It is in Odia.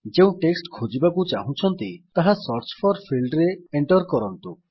ଯେଉଁ ଟେକ୍ସଟ୍ ଖୋଜିବାକୁ ଚାହୁଁଛନ୍ତି ତାହା ସର୍ଚ୍ଚ ଫୋର ଫିଲ୍ଡରେ ଏଣ୍ଟର୍ କରନ୍ତୁ